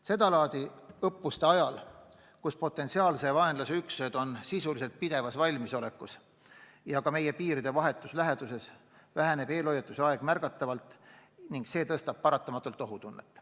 Seda laadi õppuste ajal, kui potentsiaalse vaenlase üksused on sisuliselt pidevas valmisolekus ja ka meie piiride vahetus läheduses, väheneb eelhoiatuse aeg märgatavalt ning see suurendab paratamatult ohutunnet.